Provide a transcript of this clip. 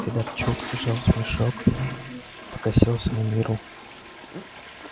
федорчук зажал смешок покосился на мирру